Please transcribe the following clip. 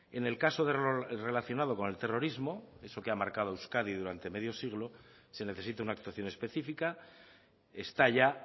en el caso de error relacionado con el terrorismo eso que ha marcado a euskadi durante medio siglo se necesita una actuación específica está ya